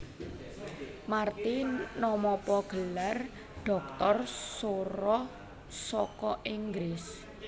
Marty namapa gelar dhoktor sora saka Inggris